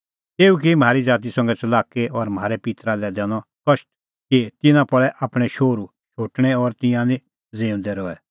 तेऊ की म्हारी ज़ाती संघै च़लाकी और म्हारै पित्तरा लै दैनअ कष्ट कि तिन्नां पल़ै आपणैं शोहरू शोटणै और तिंयां निं ज़िऊंदै रहै